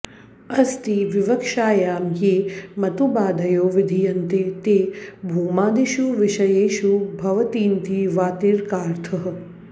अस्तिविवक्षायां ये मतुबादयो विधीयन्ते ते भूमादिषु विषयेषु भवन्तीति वार्तिकार्थः